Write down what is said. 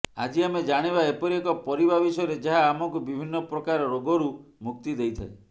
ଆଜି ଆମେ ଜାଣିବା ଏପରି ଏକ ପରିବା ବିଷୟରେ ଯାହା ଆମକୁ ବିଭିନ୍ନ ପ୍ରକାର ରୋଗରୁ ମୁକ୍ତି ଦେଇଥାଏ